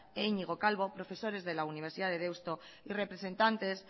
e iñigo calvo profesores de la universidad de deusto y representantes